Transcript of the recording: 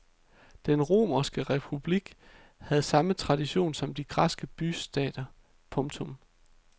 Den romerske republik havde samme tradition som de græske bystater. punktum